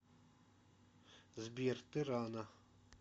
сбер ты рано